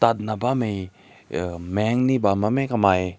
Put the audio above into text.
na bang nai uh meng ne bam meh kamai.